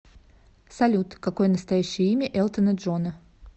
салют какое настоящее имя элтона джона